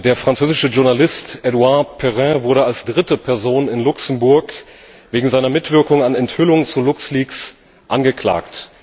Der französische Journalist Edouard Perrin wurde als dritte Person in Luxemburg wegen seiner Mitwirkung an Enthüllungen zu Lux Leaks angeklagt.